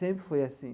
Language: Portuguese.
Sempre foi assim.